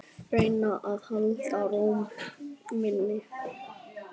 Reyna að halda ró minni.